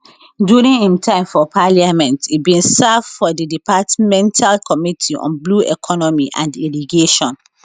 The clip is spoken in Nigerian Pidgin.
during im time for parliament e bin serve for di departmental committee on blue economy and irrigation